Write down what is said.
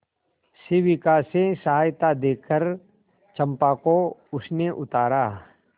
शिविका से सहायता देकर चंपा को उसने उतारा